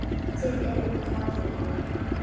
Þið eruð gráðugar.